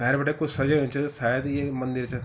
भैर बिटै कुछ सजयू च शायद यि मंदिर च ।